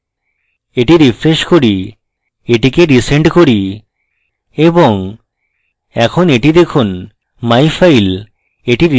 এটি refresh re এটিকে send করুন এবং এখন এটি দেখুনmyfile